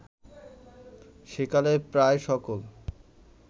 সেকালের প্রায় সকল